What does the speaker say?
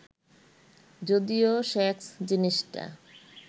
যদিও সেক্স জিনিসটা